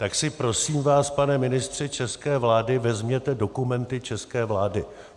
Tak si prosím vás, pane ministře české vlády, vezměte dokumenty české vlády.